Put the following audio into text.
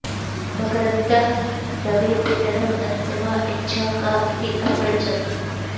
मकरन्दःः दवे पितरम् अन्तिमा इच्छा का इति अपृच्छत्